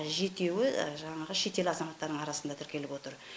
жетеуі жаңағы шетел азаматтарының арасында тіркеліп отыр